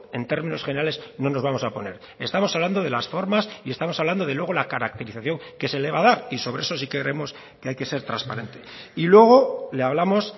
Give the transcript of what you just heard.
en términos generales no nos vamos a oponer estamos hablando de las formas y estamos hablando de luego la caracterización que luego se le va a dar y sobre eso si creemos que hay que ser trasparente y luego le hablamos